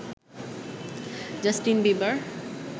Justin Bieber